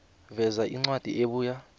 veza incwadi ebuya